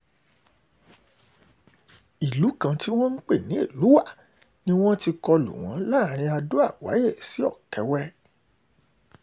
ìlú kan tí wọ́n pè ní elúwá ni wọ́n ti kọlu wọn láàrin ado-àwárẹ́ sí ọ̀kẹ́wẹ́